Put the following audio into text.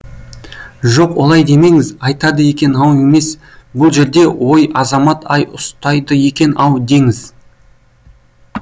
жоқ олай демеңіз айтады екен ау емес бұл жерде ой азамат ай ұстайды екен ау деңіз